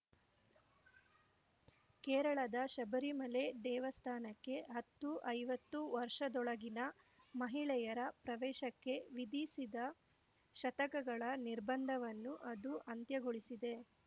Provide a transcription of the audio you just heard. ಕೇರಳದ ಶಬರಿಮಲೆ ದೇವಸ್ಥಾನಕ್ಕೆ ಹತ್ತುಐವತ್ತು ವರ್ಷದೊಳಗಿನ ಮಹಿಳೆಯರ ಪ್ರವೇಶಕ್ಕೆ ವಿಧಿಸಿದ್ದ ಶತಕಗಳ ನಿರ್ಬಂಧವನ್ನು ಅದು ಅಂತ್ಯಗೊಳಿಸಿದೆ